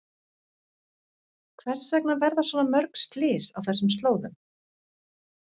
Hvers vegna verða svona mörg slys á þessum slóðum?